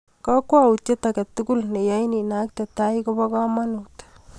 Kakwoutiet age tugul ne yain inakte tai kobo kamanut